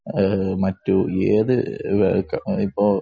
മറ്റു ഏതു